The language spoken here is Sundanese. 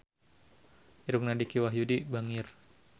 Irungna Dicky Wahyudi bangir